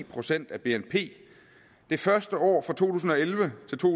procent af bnp det første år fra to tusind og elleve til to